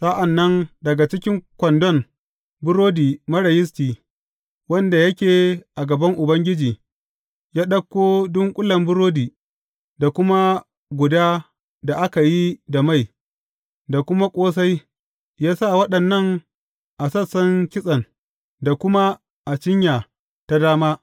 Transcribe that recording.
Sa’an nan daga cikin kwandon burodi marar yisti wanda yake a gaban Ubangiji, ya ɗauko dunƙulen burodi, da kuma guda da aka yi da mai, da kuma ƙosai; ya sa waɗannan a sassan kitsen, da kuma a cinya ta dama.